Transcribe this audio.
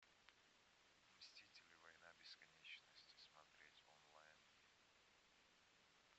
мстители война бесконечности смотреть онлайн